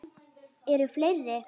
Eru fleiri?